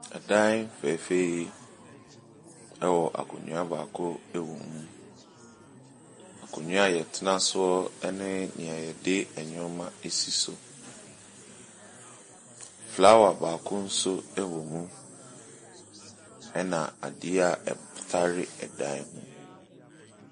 Ɛdan fɛfɛɛ yi ɛwɔ akonwa baako wɔ mu. Akonwa a yɛtena so ɛne nea yɛde yɛn nnoɔma esi so. Flower baako nso ɛwɔ mu. Ɛna adeɛ ɛtare ɛdan ho.